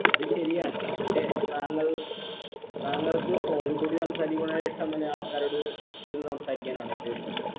അത് ശരിയാണ് ഹെ താങ്കൾ താങ്കൾക് phone ഇൽ കൂടി സംസാരിക്കുയാണെ ഇഷ്ടം അല്ലെ ആൾക്കാരോട് ഇരുന്ന് സംസാരിക്കാനാണോ ഏറ്റവു ഇഷ്ട്ടം